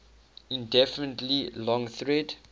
infinitely long thread